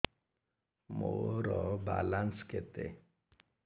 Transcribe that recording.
ମୋର ବାଲାନ୍ସ କେତେ